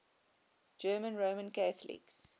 german roman catholics